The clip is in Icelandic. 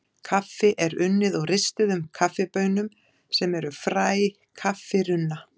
Kaffi er unnið úr ristuðum kaffibaunum sem eru fræ kaffirunna.